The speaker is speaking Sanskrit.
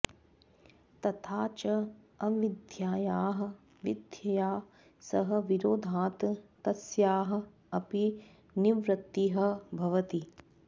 तथा च अविद्यायाः विद्यया सह विरोधात् तस्याः अपि निवृत्तिः भवति